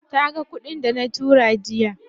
Taga kuɗin dana tura jiya.